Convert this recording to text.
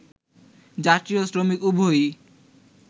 যাত্রী ও শ্রমিক উভয়ই